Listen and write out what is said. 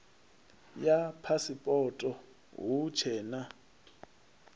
ya phasipoto hu tshee na